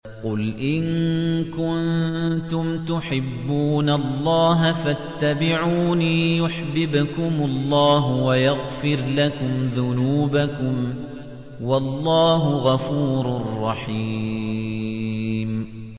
قُلْ إِن كُنتُمْ تُحِبُّونَ اللَّهَ فَاتَّبِعُونِي يُحْبِبْكُمُ اللَّهُ وَيَغْفِرْ لَكُمْ ذُنُوبَكُمْ ۗ وَاللَّهُ غَفُورٌ رَّحِيمٌ